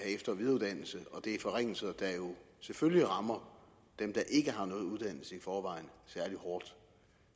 efter og videreuddannelse og det er forringelser der jo selvfølgelig rammer dem der ikke har nogen uddannelse i forvejen særlig hårdt